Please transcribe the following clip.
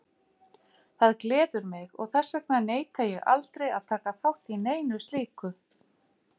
Það gleður mig og þess vegna neita ég aldrei að taka þátt í neinu slíku.